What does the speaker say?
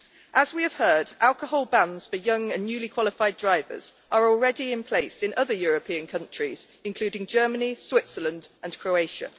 As we have heard, alcohol bans for young and newly qualified drivers are already in place in other European countries, including Germany, Switzerland and Croatia.